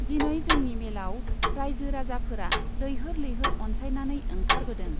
दिनै जोंनि मेलआव राइजो राजाफोरा लैहोर लैहोर अनसायनानै ओंखारबोदों।